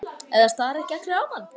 Eða stara ekki allir á mann?